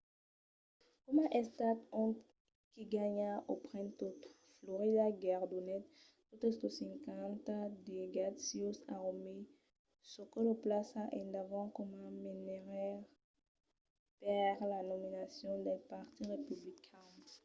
coma estat ont qui ganha o pren tot florida guerdonèt totes los cinquanta delegats sieus a romney çò que lo plaça endavant coma menaire per la nominacion del partit republican